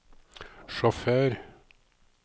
sjåfør